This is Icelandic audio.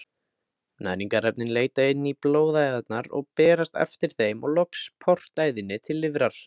Næringarefnin leita inn í blóðæðarnar og berast eftir þeim og loks portæðinni til lifrar.